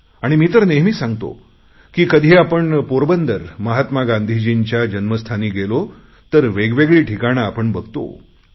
आणि मी तर नेहमी सांगतो की कधी आपण पोरबंदर महात्मा गांधीजींच्या जन्म स्थानी गेलो तर वेगवेगळी ठिकाणे आपण बघतो